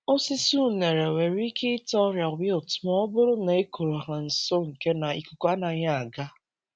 Osisi unere nwere ike ịta ọrịa wilt ma ọ bụrụ na e kụrụ ha nso nke na ikuku anaghị aga.